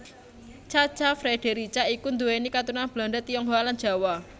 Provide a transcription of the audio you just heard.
Cha Cha Frederica iku nduwéni katurunan Belanda Tionghoa lan Jawa